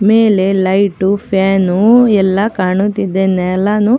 ಮೇಲೆ light fan ಎಲ್ಲಾ ಕಾಣುತ್ತಿದೆ ನೇಲಾನು.